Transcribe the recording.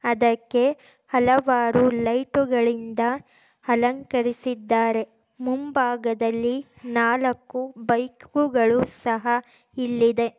ಅದಕ್ಕೆ ಹಲವಾರು ಲೈಟುಗಳಿಂದ ಅಲಂಕರಿಸಿದ್ದಾರೆ ಮುಂಭಾಗದಲ್ಲಿ ನಾಲ್ಕು ಬೈಕ್ ಗಳು ಸಹ ಇಲ್ಲಿದೆ.